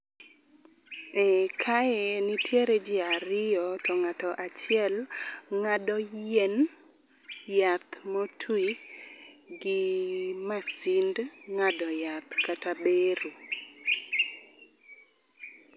E kae nitiere ji ariyo to ng'ato achiel ng'ado yien, yath motwi gi masind ng'ado yath kata bero.